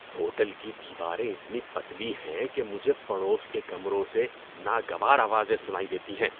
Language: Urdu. ہوٹل کی دیواریں اتنی پتلی ہیں کہ مجھے پڑوس کے کمروں سے ناگوار آوازیں سنائی دیتی ہیں۔